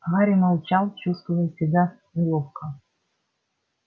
гарри молчал чувствуя себя неловко